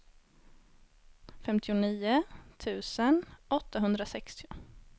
femtionio tusen åttahundrasextio